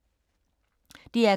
DR K